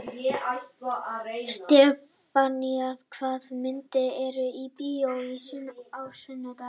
Stefánný, hvaða myndir eru í bíó á sunnudaginn?